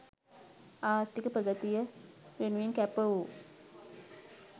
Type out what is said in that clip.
ආර්ථික ප්‍රගතිය වෙනුවෙන් කැප වූ